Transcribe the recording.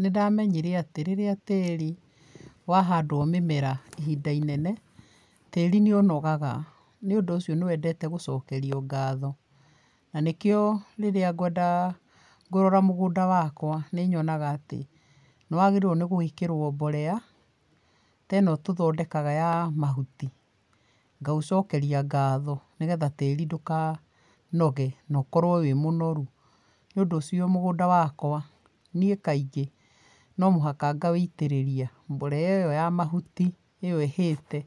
Nĩndamenyire atĩ rĩrĩa tĩri wahandwo mĩmera ihinda inene, tĩri nĩ ũnogaga, nĩũndũ ũcio nĩwendete gũcokerio ngatho, na nĩkĩo rĩria ngwenda kũrora mũgũnda wakwa nĩ nyonaga atĩ nĩwagĩrĩire gwĩkĩrwo mborea ta ĩno tũthondekaga ya mahuti. Ngaũcokeria ngatho nĩgetha tĩri ndũkanoge na ũkorwo wĩ mũnoru. Nĩũndũ ũcio mũgũnda wakwa nĩi kaingĩ no mũhaka ngawiitĩrĩria mborera ĩyo ya mahuti, ĩyo ĩhĩte